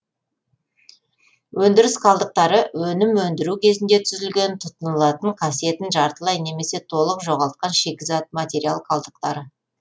өндіріс қалдықтары өнім өндіру кезінде түзілген тұтынылатын қасиетін жартылай немесе толык жоғалтқан шикізат материал қалдықтары